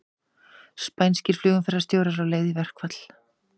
Spænskir flugumferðarstjórar á leið í verkfall